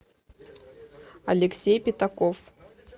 алексей пятаков